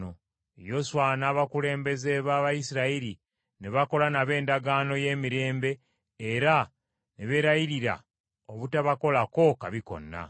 Yoswa n’abakulembeze b’Abayisirayiri ne bakola nabo endagaano y’emirembe era ne beerayirira obutabakolako kabi konna.